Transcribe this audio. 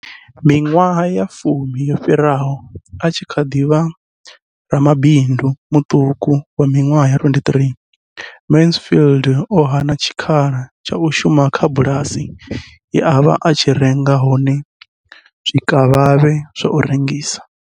Miṅwaha ya fumi yo fhiraho, a tshi kha ḓi vha ramabindu muṱuku wa miṅwaha ya 23, Mansfield o hana tshikhala tsha u shuma kha bulasi ye a vha a tshi renga hone zwikavhavhe zwa u rengisa.